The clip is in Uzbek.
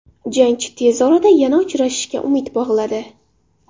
Jangchi tez orada yana uchrashishga umid bog‘ladi.